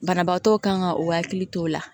Banabaatɔw kan k'o hakili to o la